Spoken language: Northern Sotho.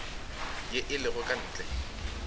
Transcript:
ye e lego ka ntle